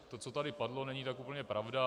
To, co tady padlo, není tak úplně pravda.